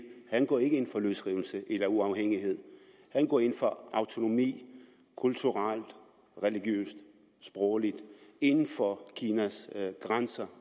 han går ikke ind for løsrivelse eller uafhængighed han går ind for autonomi kulturelt religiøst og sprogligt inden for kinas grænser